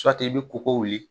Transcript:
i bɛ koko wuli.